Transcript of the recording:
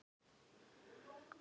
Hvernig svona stendur á þessu?